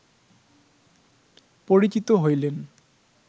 পরিচিত হইলেন